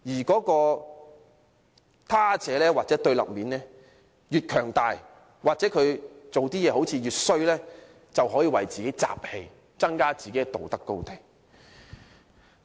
這個他者或對立面越強大或做的事情越壞，民粹主義者便可以為自己"集氣"，佔據更高的道德高地。